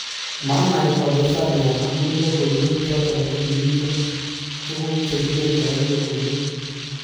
"Manai ole sialyan amun logoiwek choton kokimiten tuguk chekiletoen lokoiwek